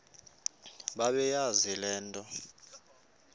bebeyazi le nto